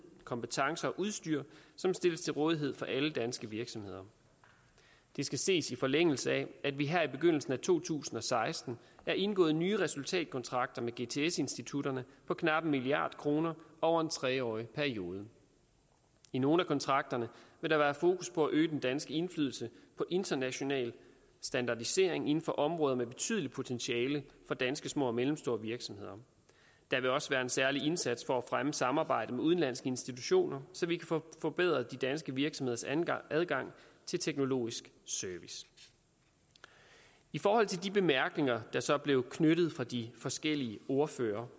kompetencer og udstyr som stilles til rådighed for alle danske virksomheder det skal ses i forlængelse af at vi her i begyndelsen af to tusind og seksten har indgået nye resultatkontrakter med gts institutterne på knap en milliard kroner over en tre årig periode i nogle af kontrakterne vil der være fokus på at øge den danske indflydelse på international standardisering inden for områder med betydeligt potentiale for danske små og mellemstore virksomheder der vil også være en særlig indsats for at fremme samarbejdet med udenlandske institutioner så vi kan få forbedret de danske virksomheders adgang adgang til teknologisk service i forhold til de bemærkninger der så blev knyttet fra de forskellige ordførere